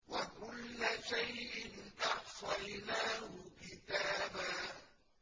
وَكُلَّ شَيْءٍ أَحْصَيْنَاهُ كِتَابًا